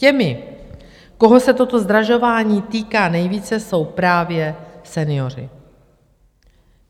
Těmi, koho se toto zdražování týká nejvíce, jsou právě senioři.